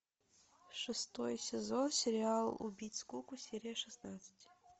шестой сезон сериал убить скуку серия шестнадцать